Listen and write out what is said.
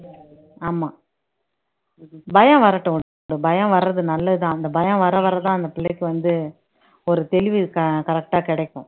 ஆமா பயம் வரட்டும் பயம் வர்றது நல்லதுதான் அந்த பயம் வர வரதான் அந்த பிள்ளைக்கு வந்து ஒரு தெளிவு க correct ஆ கிடைக்கும்